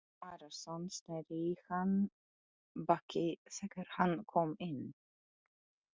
Jón Arason sneri í hann baki þegar hann kom inn.